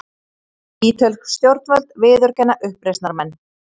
Ítölsk stjórnvöld viðurkenna uppreisnarmenn